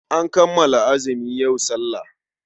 An kammala azumi, yau sallah.